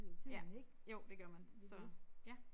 Ja jo det gør man så ja